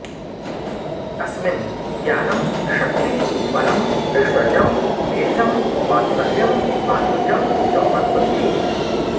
अस्मिन् ज्ञानं शक्तिः बलम् ऐश्वर्यं वीर्यं वात्सल्यं माधुर्यं च वर्तन्ते